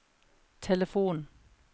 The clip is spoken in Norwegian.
telefon